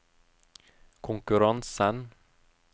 konkurransen